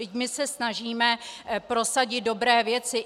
Vždyť my se snažíme prosadit dobré věci.